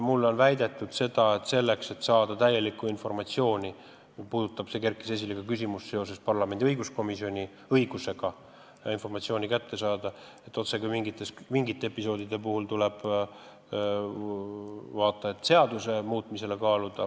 Mulle on väidetud, et selleks, et saada täielikku informatsiooni – see küsimus kerkis üles seoses parlamendi õiguskomisjoni õigusega informatsiooni kätte saada – mingite episoodide puhul, tuleb vaata et seaduse muutmist kaaluda.